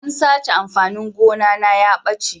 An sace amfanin gona na ya ɓace.